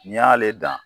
N'i y'ale dan